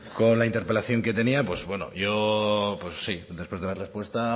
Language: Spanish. con la interpelación que tenía pues bueno yo pues sí después de la respuesta